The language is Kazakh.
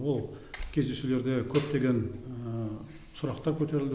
ол кездесулерде көптеген сұрақтар көтерілді